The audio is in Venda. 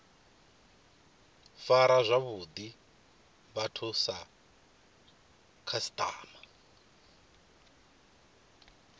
fara zwavhuḓi vhathu sa khasiṱama